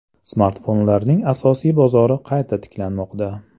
Smartfonlarning asosiy bozori qayta tiklanmoqda.